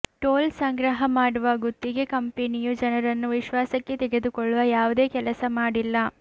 toll ಸಂಗ್ರಹ ಮಾಡುವ ಗುತ್ತಿಗೆ ಕಂಪೆನಿಯು ಜನರನ್ನು ವಿಶ್ವಾಸಕ್ಕೆ ತೆಗೆದುಕೊಳ್ಳುವ ಯಾವುದೇ ಕೆಲಸ ಮಾಡಿಲ್ಲ